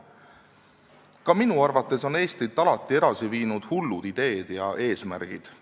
Ka minu arvates on Eestit alati edasi viinud hullud ideed ja eesmärgid.